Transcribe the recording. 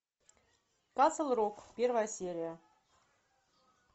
касл рок первая серия